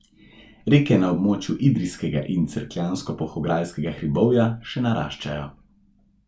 Reke na območju Idrijskega in Cerkljansko Polhograjskega hribovja še naraščajo.